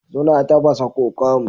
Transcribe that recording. Suna tafasa kokom